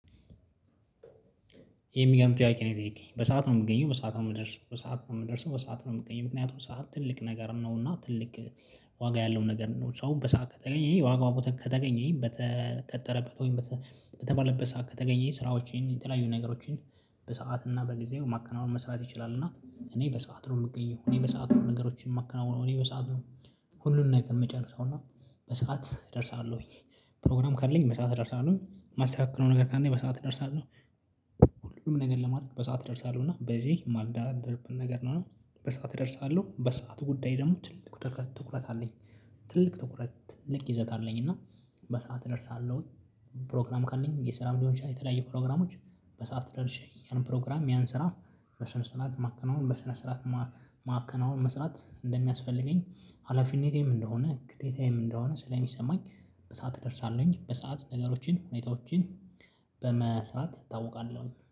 የሚገርም ጥያቄ ነው የጠየቀኝ በሰአት ነው የምገኘው በሰአት ነው የምደርሰው በሰአት ነው የምደርሰው በሰአት ነው የምገኝ ምክንያቱም ሰዓት ትልቅ ነገር ነው እና ትልቅ ዋጋ ያለው ነገር ነው። ሰው በሰአት ከተገኘኝ ዋጋው ቦታ ከተገኘኝ በተቀጠረበት ወይም በተባለበት ሰዓት ከተገኘ ስራዎችን የተለያዩ ነገሮችን በሰአት እና በጊዜው ማከናወን መስራት ይችላል። እና እኔ በሰአት ነው የምገኘው እኔ በሰአት ነው ነገሮችን የማከናውነው እኔ በሰአት ነው ሁሉን ነገር የምጨርሰው እና በሰአት እደርሳለሁኝ። ፕሮግራም ካለኝ በሰአት እደርሳለሁኝ ማተካክለው ነው ነገር ካለኝ በሰአት እደርሳለሁ። ሁሉም ነገር ለማድረግ በሰአት እደርሳለሁ እና በዚህ ማልደራደርበት ነገር ነው። በሰአት እደርሳለሁ በሰአት ጉዳይ ደግሞ ትልቅ ትኩረት አለኝ። ትልቅ ትኩረት ትልቅ ይዘት አለኝ እና በሰአት እደርሳለሁኝ። ፕሮግራም ካለኝ የሰራም ሊሆን ይችላል። የተለያዩ ፕሮግራሞች በሰአት ደርሼ ያንን ፕሮግራም የሚያንን ስራ በስነ ስርዓት ማከናወን በስነ ስርዓት ማከናወን መስራት እንደሚያስፈልገኝ። ሀላፊነቴም እንደሆነ ግዴታዬም እንደሆነ ስለሚሰማኝ በሰአት እደርሳለሁኝ በሰአት ነገሮችን ሁኔታዎችን በመስራት እታውቃለሁኝ